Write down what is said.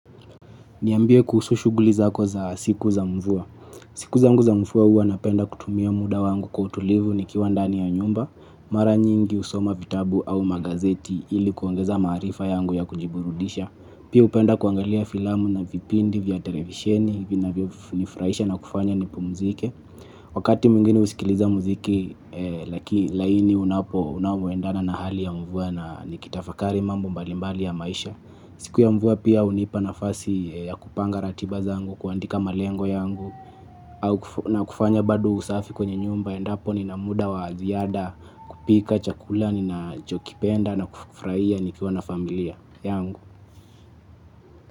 Niambie kuhusu shughuli zako za siku za mvua. Siku zangu mfua hua napenda kutumia muda wangu kwa utulivu nikiwa ndani ya nyumba, mara nyingi usoma vitabu au magazeti ili kuongeza maarifa yangu ya kujiburudisha. Pia upenda kuangalia filamu na vipindi vya televisheni vinavyonifuraisha na kufanya nipumzike. Wakati mwingine usikiliza mziki laki laini unapo unaoendana na hali ya mvua na nikitafakari mambo mbalimbali ya maisha. Siku ya mvua pia hunipa nafasi ya kupanga ratiba zangu kuandika malengo yangu au na kufanya bado usafi kwenye nyumba endapo ni na muda wa ziada kupika chakula ninachokipenda na kufuraia nikiwa na familia yangu.